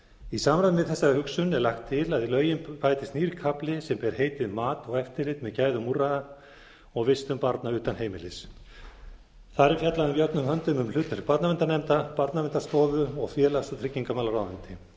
í samræmi við þessa hugsun er lagt til að við lögin bætist nýr hafi sem ber heitið mat og eftirlit með gæðum úrræða og vistun barna utan heimilis þar er fjallað jöfnum höndum um hlutverk barnaverndarnefnda barnaverndarstofu og félags og tryggingamálaráðuneytið